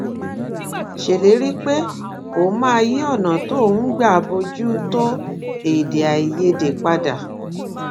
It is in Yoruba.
ṣèlérí pé òun máa yí ònà tóun ń gbà bójú tó edeaiyede padà